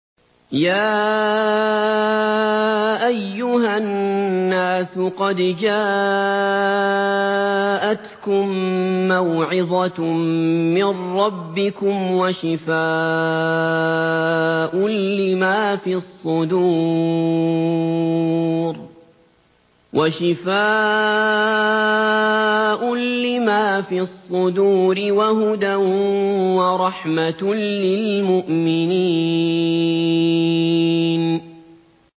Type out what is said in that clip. يَا أَيُّهَا النَّاسُ قَدْ جَاءَتْكُم مَّوْعِظَةٌ مِّن رَّبِّكُمْ وَشِفَاءٌ لِّمَا فِي الصُّدُورِ وَهُدًى وَرَحْمَةٌ لِّلْمُؤْمِنِينَ